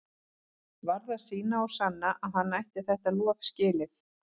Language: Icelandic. Varð að sýna og sanna að hann ætti þetta lof skilið.